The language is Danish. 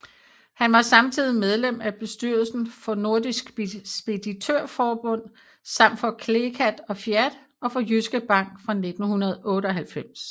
Han var samtidig medlem af bestyrelsen for Nordisk Speditørforbund samt for CLECAT og FIAT og for Jyske Bank fra 1998